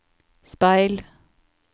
speil